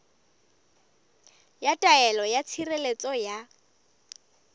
ya taelo ya tshireletso ya